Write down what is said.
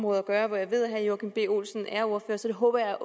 at gøre hvor jeg ved at herre joachim b olsen er ordfører så det håber jeg